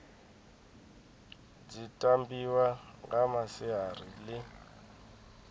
dzi tambiwa nga masiari ḽi